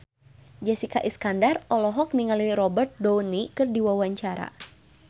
Jessica Iskandar olohok ningali Robert Downey keur diwawancara